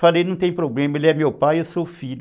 Falei, não tem problema, ele é meu pai, eu sou filho.